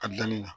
A danni na